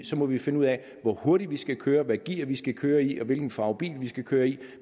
så må vi finde ud af hvor hurtigt vi skal køre hvilket gear vi skal køre i og hvilken farve bil vi skal køre i